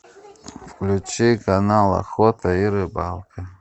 включи канал охота и рыбалка